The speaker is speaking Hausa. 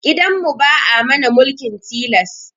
Gidan mu ba'a mana mulkin tilas